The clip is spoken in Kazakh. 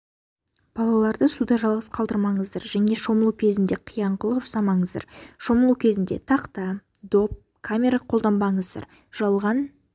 балаларды суда жалғыз қалдырмаңыздар және шомылу кезінде қиянқылық жасамаңыздар шомылу кезінде тақта доп камера қолданбаңыздар жалған